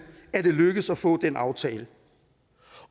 at det er lykkedes at få den aftale